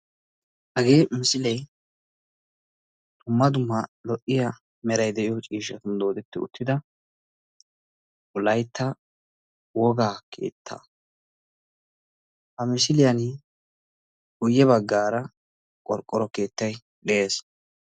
Hagee misilee dumma dumma lo''iya meray de'iyo ciishshan doodetti uttida wolaytta wogaa keettaa. Ha misiliya guyye baggaara qorqqoro keettay de'ees.